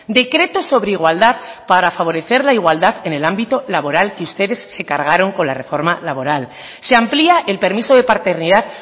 decreto sobre igualdad para favorecer la igualdad en el ámbito laboral que ustedes se cargaron con la reforma laboral se amplía el permiso de paternidad